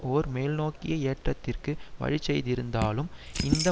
ஒரு மேல்நோக்கிய ஏற்றத்திற்கு வழிசெய்திருந்தாலும் இந்த